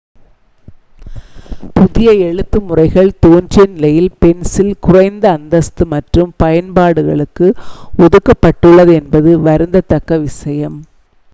புதிய எழுத்து முறைகள் தோன்றியநிலையில் பென்சில் குறைந்த அந்தஸ்து மற்றும் பயன்பாடுகளுக்கு ஒதுக்கப்பட்டுள்ளது என்பது வருந்தத்தக்க விஷயம்